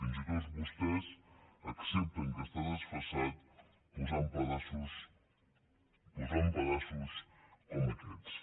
fins i tot vostès accepten que està desfasat posant pedaços posant pedaços com aquests